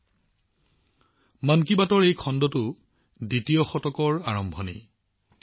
এইবাৰ মন কী বাতৰ এই খণ্ডটো ইয়াৰ দ্বিতীয়টো শতিকাৰ আৰম্ভণি খণ্ড